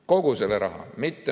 Kogu selle raha.